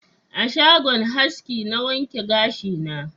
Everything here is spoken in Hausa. A shagon haski na wanke gashi na